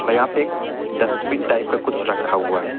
यहां पे एक डस्टबिन टाइप का कुछ रखा हुआ है।